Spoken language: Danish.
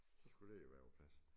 Så skulle det jo være på plads